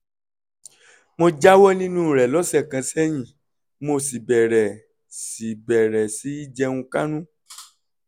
mo jáwọ́ nínú rẹ̀ lọ́sẹ̀ kan sẹ́yìn mo sì bẹ̀rẹ̀ sí í bẹ̀rẹ̀ sí í jẹun kánú